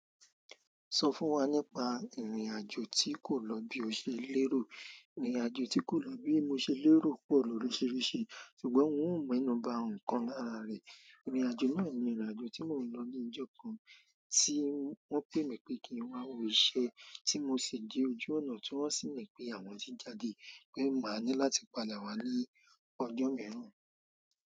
Sọ fún wa nípa ìrìnàjò tí kò lọ bí o ṣe lérò. Ìrìnàjò tí kò lọ bí mo ṣe lérò pọ̀ lóriṣíríṣì ṣùgbọ́n n ò menú ba nkan lára rẹ̀. Ìrìnàjò náà ni ìrìnàjò tí mo n lọ ní ọjọ́ kan tí wọ́n pé mi pé kí n wá wo iṣẹ́ tí mo si de ojú ọ̀nà tí wọ́n sì ní pé àwọn ti jáde pé máa ní láti padà wá ní ọjọ́ mẹ́rin.